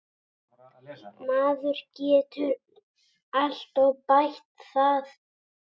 Maður getur alltaf bætt það.